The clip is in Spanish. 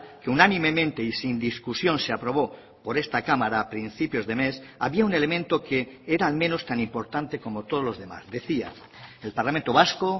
que unánimemente y sin discusión se aprobó por esta cámara a principios de mes había un elemento que era al menos tan importante como todos los demás decía el parlamento vasco